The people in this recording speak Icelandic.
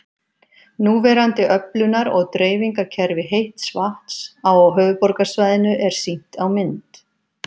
Núverandi öflunar- og dreifingarkerfi heits vatns á höfuðborgarsvæðinu er sýnt á mynd